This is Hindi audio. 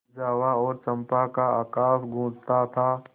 जावा और चंपा का आकाश गँूजता था